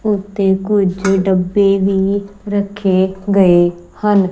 ਉਤੇ ਕੁਝ ਡੱਬੇ ਵੀ ਰੱਖੇ ਗਏ ਹਨ।